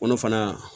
Kɔnɔ fana